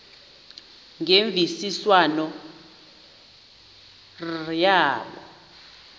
ngemvisiswano r kwabo